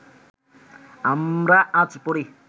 আমরা আজ পড়ি